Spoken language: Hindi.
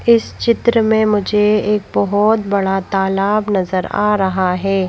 इस चित्र में मुझे एक बहोत बड़ा तालाब नजर आ रहा है।